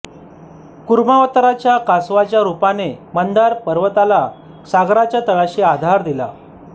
कुर्मावताराच्या कासवाच्या रूपाने मंदार पर्वताला सागराच्या तळाशी आधार दिला